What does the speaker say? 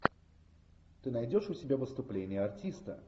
ты найдешь у себя выступление артиста